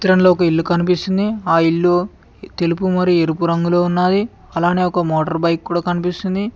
ఇల్లు కనిపిస్తుంది ఆ ఇల్లు తెలుపు మరి ఎరుపు రంగులో ఉన్నది అలానే ఒక మోటార్ బైక్ కూడా కనిపిస్తుంది.